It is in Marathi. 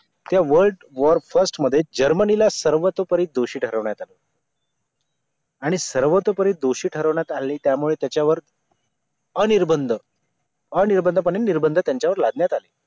त्या world war first मध्ये जर्मनीला सर्वतोपरी दोषी ठरवण्यात आले आणि सर्वतोपरी दोषी ठरवण्यात आले त्यामुळे त्याच्यावर अनिर्बंध अनिर्बंध पणे निर्बंध त्यांच्यावर लादण्यात आले